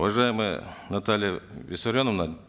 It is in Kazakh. уважаемая наталья виссарионовна